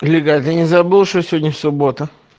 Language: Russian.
ребят не забыл что сегодня суббота